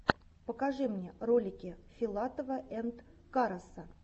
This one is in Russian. покажи мне ролики филатова энд караса